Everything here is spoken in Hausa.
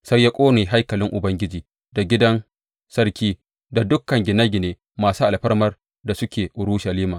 Sai ya ƙone haikalin Ubangiji, da gidan sarki, da dukan gine gine masu alfarman da suke Urushalima.